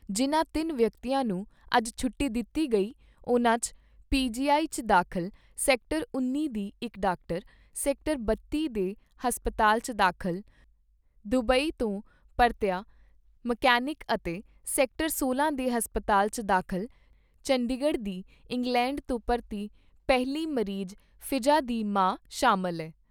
ਜਿਨ੍ਹਾਂ ਤਿੰਨ ਵਿਅਕਤੀਆਂ ਨੂੰ ਅੱਜ ਛੁੱਟੀ ਦਿੱਤੀ ਗਈ ਉਨ੍ਹਾਂ 'ਚ ਪੀ ਜੀ ਆਈ 'ਚ ਦਾਖਲ ਸੈਕਟਰ ਉੱਨੀ ਦੀ ਇਕ ਡਾਕਟਰ, ਸੈਕਟਰ ਬੱਤੀ ਦੇ ਹਸਪਤਾਲ 'ਚ ਦਾਖਲ ਦੁਬਈ ਤੋਂ ਪਰਤਿਆ ਮਕੈਨਿਕ ਅਤੇ ਸੈਕਟਰ ਸੋਲਾਂ ਦੇ ਹਸਪਤਾਲ 'ਚ ਦਾਖਲ ਚੰਡੀਗੜ੍ਹ ਦੀ ਇੰਗਲੈਂਡ ਤੋਂ ਪਰਤੀ ਪਹਿਲੀ ਮਰੀਜ ਫੀਜਾ ਦੀ ਮਾਂ ਸ਼ਾਮਲ ਐ।